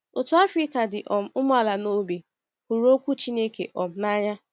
Otu Afrịka dị um umeala n’obi hụrụ Okwu Chineke um n’anya